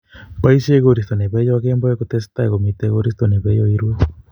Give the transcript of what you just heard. Poishe koristo ne peyo kemboi kutestai komitei koristo ne peiyo irue